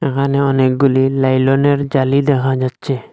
এখানে অনেকগুলি লাইলনের জালি দেখা যাচ্ছে।